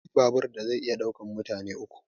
Akwai babur da zai iya ɗaukan mutane uku